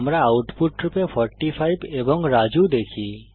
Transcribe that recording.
আমরা আউটপুট রূপে 45 এবং রাজু দেখি